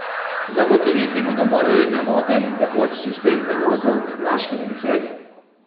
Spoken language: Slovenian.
Zagotoviti bodo morali nemoten in tekoč sistem prevozov med Laškim in Celjem.